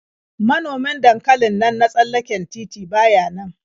Manomin dankalin nan na tsallaken titi ba ya nan.